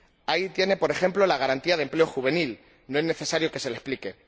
Ahí tiene, por ejemplo, la garantía de empleo juvenil, no es necesario que se la explique.